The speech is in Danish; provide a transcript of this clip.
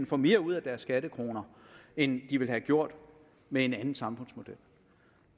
får mere ud af deres skattekroner end de ville have gjort med en anden samfundsmodel